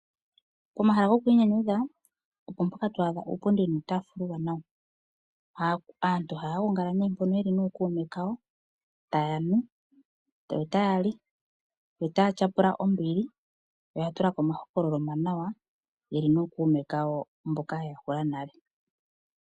Omahala gokwinyanyudha opo mpoka to adha uupundi nuutafula aantu ohaya gongala ne mpono nokume kawo taya nu, taya li, notaya nyapula ombili yo oya tulako omahokololo omawanawa yeli nokuume kayo mboka yeya hula nale.